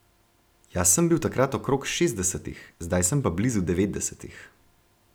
Jaz sem bil takrat okrog šestdesetih, zdaj sem pa blizu devetdesetih.